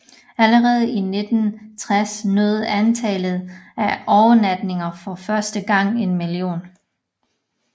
Allerede i 1960 nåede antallet af overnatninger for første gang en million